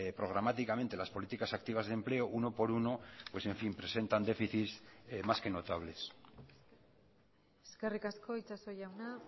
programáticamente las políticas activas de empleo uno por uno pues en fin presentan déficit más que notables eskerrik asko itxaso jauna